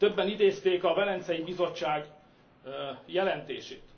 Többen idézték a Velencei Bizottság jelentését.